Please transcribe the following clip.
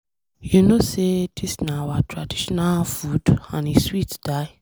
You no know say dis na our traditional food and e dey sweet die.